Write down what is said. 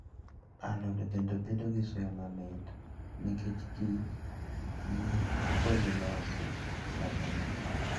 Alode bende bedo gi suya mamit nikech kich gi polinasi maber.